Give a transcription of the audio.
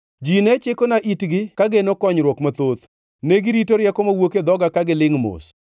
“Ji ne chikona itgi ka geno konyruok mathoth, negirito rieko mawuok e dhoga ka gilingʼ mos.